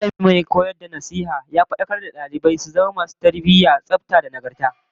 Mallami mai kula da nasiha da shiryar da dalibai ya fadakar da dalibai su zama masu tsafta, tarbiyyah da nagarta